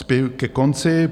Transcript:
Spěju ke konci.